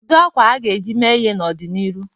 Kedu akwa a ga-eji mee uwe n'ọdịnihu?